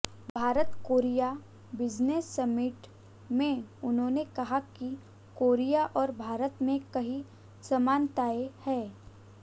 Bharat Korea business summit में उन्होंने कहा कि कोरिया और भारत में कई समानताएं हैं